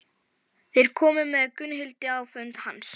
Þeir komu með Gunnhildi á fund hans.